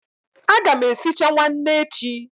A ga m esicha nwanne echi.